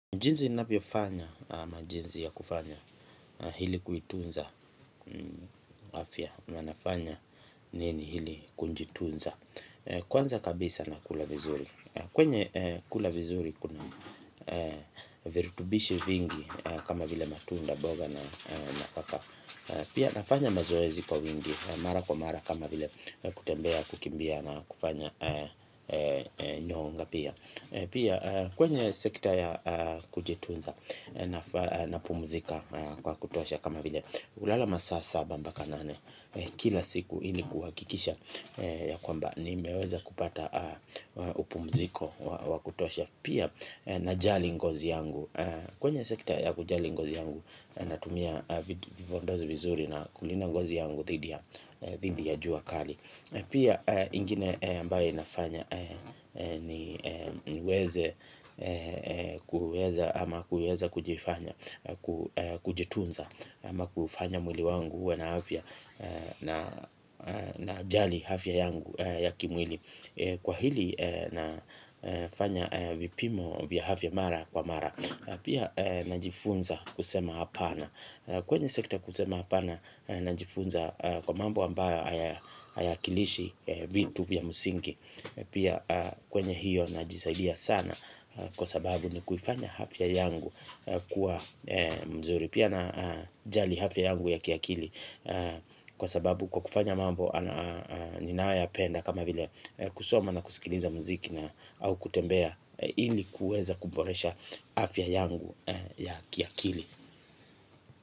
Jinsi ninavyo fanya na jinsi ya kufanya hili kuitunza afya na nafanya nini hili kujitunza kwanza kabisa nakula vizuri kwenye kula vizuri kuna virutubishi vingi kama vile matunda mboga na na kaka pia nafanya mazoezi kwa wingi na mara kwa mara kama vile kutembea kukimbia na kufanya nyonga pia. Pia kwenye sekta ya kujitunza napumuzika kwa kutosha kama vile kulala masaa saba mpaka nane. Kila siku ili kuhakikisha ya kwamba nimeweza kupata upumuziko wa kutosha. Pia najali ngozi yangu kwenye sekta ya kujali ngozi yangu natumia vipodozi vizuri na kulinda ngozi yangu dhidi ya jua kali. Pia ingine ambayo inafanya niweze kuweza ama kuweza kujifanya, kujitunza ama kufanya mwili wangu uwe na afya najali afya yangu ya kimwili. Kwa hili nafanya vipimo vya afya mara kwa mara pia najifunza kusema hapana. Kwenye sekta kusema hapana najifunza kwa mambo ambayo hayakilishi vitu vya msingi. Pia kwenye hiyo najisaidia sana kwa sababu ni kuifanya afya yangu kuwa mzuri pia najali afya yangu ya kiakili. Kwa sababu kwa kufanya mambo ninayoyapenda kama vile kusoma na kusikiliza muziki na au kutembea. Hili kuweza kuboresha afya yangu ya kiakili.